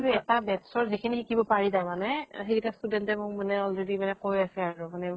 এটা batch ৰ যিখিনি শিকিব পাৰি তাৰ মানে সেইকেটা student এ মোক মানে already মানে কৈ আছে আৰু মানে